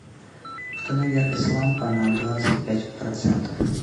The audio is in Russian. установи яркость лампа на двадцать пять процентов